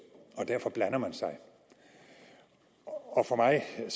og derfor blander man sig og for mig er